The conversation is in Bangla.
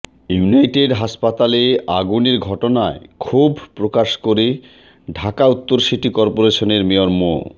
ইউনাইটেড হাসপাতালে আগুনের ঘটনায় ক্ষোভ প্রকাশ করে ঢাকা উত্তর সিটি করপোরেশনের মেয়র মো